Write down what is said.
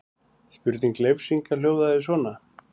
Spurning Leifs Inga hljóðaði svona: